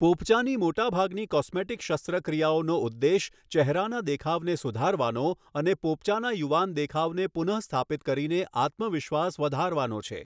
પોપચાંની મોટાભાગની કોસ્મેટિક શસ્ત્રક્રિયાઓનો ઉદ્દેશ ચહેરાના દેખાવને સુધારવાનો અને પોપચાના યુવાન દેખાવને પુનઃસ્થાપિત કરીને આત્મવિશ્વાસ વધારવાનો છે.